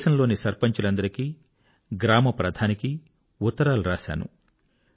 దేశంలోని సర్పంచ్ లందరికీ గ్రామప్రధానికి ఉత్తరాలు వ్రాశాను